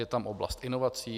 Je tam oblast inovací.